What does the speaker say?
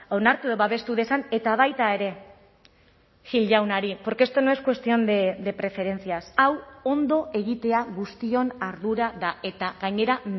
onartu edo babestu dezan eta baita ere gil jaunari porque esto no es cuestión de preferencias hau ondo egitea guztion ardura da eta gainera